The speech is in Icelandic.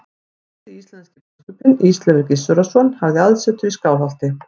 Fyrsti íslenski biskupinn, Ísleifur Gissurarson, hafði aðsetur í Skálholti.